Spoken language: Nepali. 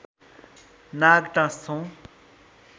नाग टाँस्छौँ